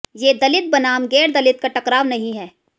ये दलित बनाम गैरदलित का टकराव नहीं है